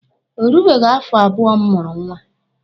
O rubeghi afọ abụọ m mụrụ nwa.